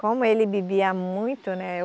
Como ele bebia muito, né?